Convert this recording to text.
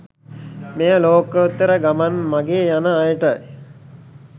මෙය ලෝකෝත්තර ගමන් මගේ යන අයට